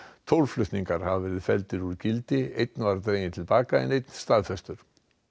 tólf flutningar hafa verið felldir úr gildi einn var dreginn til baka en einn staðfestur